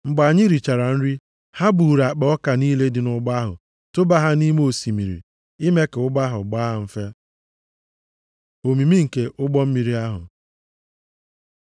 Mgbe anyị richara nri, ha buuru akpa ọka niile dị nʼụgbọ ahụ tụba ha nʼime osimiri ime ka ụgbọ ahụ gbaa mfe. Omimi nke ụgbọ mmiri ahụ